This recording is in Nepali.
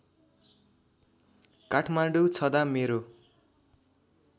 काठमाडौँ छँदा मेरो